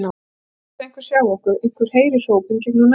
Bíðum þess að einhver sjái okkur, einhver heyri hrópin gegnum næðinginn.